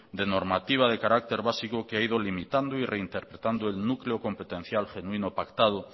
de normativa de carácter básico que ha ido limitando y reinterpretando el núcleo competencial genuino pactado